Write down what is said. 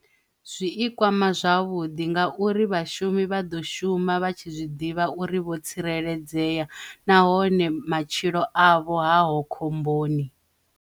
Zwi i kwama zwavhuḓi ngauri vhashumi vha ḓo shuma vha tshi zwiḓivha uri vho tsireledzea nahone matshilo avho haho khomboni.